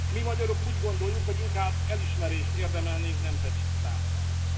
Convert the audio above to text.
Mi magyarok úgy gondoljuk, hogy inkább elismerést érdemelnénk, nem pedig támadást.